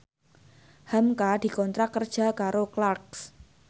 hamka dikontrak kerja karo Clarks